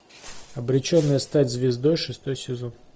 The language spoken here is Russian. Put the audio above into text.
обреченная стать звездой шестой сезон